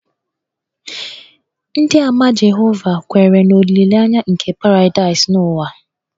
Ndịàmà Jehova kweere na olileanya nke paradaịs n'ụwa